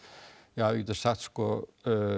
ja við getum sagt sko